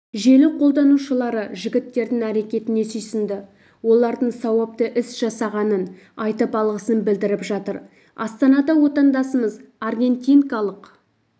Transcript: желі қолданушылары жігіттердің әрекетіне сүйсінді олардың сауапты іс жасағанын айтып алғысын білдіріп жатыр астанада отандасымыз аргентинкалық